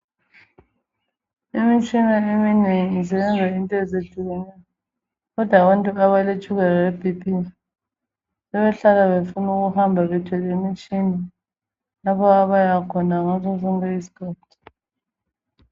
Imitshina eminengi zenza into ezehlukeneyo kodwa abantu abaletshukela lebp sebehlala befuna ukuhamba bethwele imitshina lapho abayakhona ngaso sonke izikhathi.